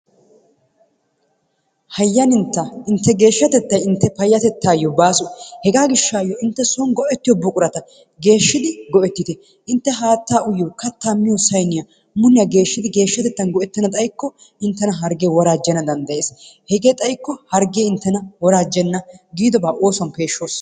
Hayyanintta intte geeshshatettay intte paayyatettayo baaso. Hega gishshayyo inte soon go''ettiyo buqurata geeshshidi go''ettite. intte haattaa uyyiyo, kattaa miyyo saynniya muliyaa geeshshidi geeshshatettan go''ettana xaykko inttena hargge woorajjana danddayees. Hege xaykko hargge inttena woorajjena. giidobaa oosuwan peeshshoos.